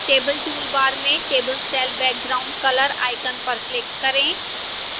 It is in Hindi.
table toolbar में table cell background color icon पर click करें